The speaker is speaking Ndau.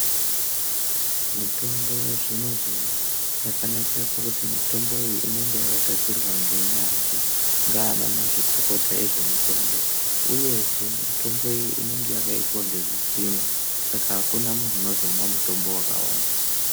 Mitombo yazvino-zvino ,yakanakira pakuti mitomboyi inenge yakagadzirwa ngenyanzvi, ngaanamazvikokota ezvemitombo, uyezve, mitomboyi inenge yakaitwa ngezvipimo, saka akuna munhu anozomwa mutombo wakawandisa.